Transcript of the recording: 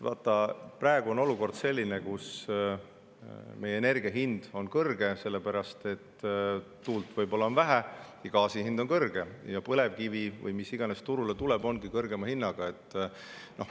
Vaata, praegu on olukord selline, et meie energia hind on kõrge, sellepärast et tuult on võib-olla vähe, gaasi hind on kõrge ja põlevkivi‑ või mis iganes, mis turule tuleb, ongi kõrgema hinnaga.